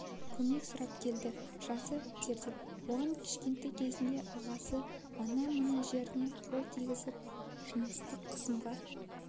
көмек сұрап келді жасы терде оған кішкентай кезінде ағасы ана-мына жеріне қол тигізіп жыныстық қысымға